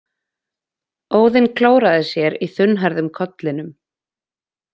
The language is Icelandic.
Óðinn klóraði sér í þunnhærðum kollinum.